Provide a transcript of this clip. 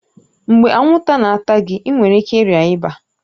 Mgbe anwụnta na-ata gị, ị nwere ike ịrịa ịba